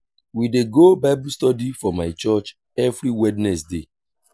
we dey go bible study for my church every wednesday.